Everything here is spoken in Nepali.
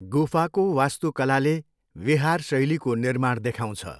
गुफाको वास्तुकलाले विहार शैलीको निर्माण देखाउँछ।